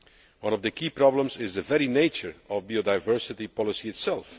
One of the key problems is the very nature of biodiversity policy itself.